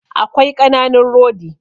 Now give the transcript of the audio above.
Akwai ƙananun rodi